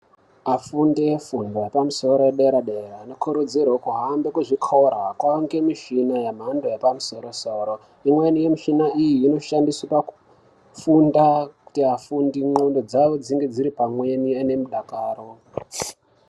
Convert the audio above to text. Afundi e fundo ye pamusoro ye dera dera ano kurudzirwe kuhambe ku zvikora kwange mishina ye mhando yepa musoro soro imweni mishina iyi ino shandiswa kufunda kuti afundi ndxondo dzavo dzinge dziri pamweni ave ne mudakaro.